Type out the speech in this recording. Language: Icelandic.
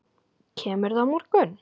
Kemurðu á morgun?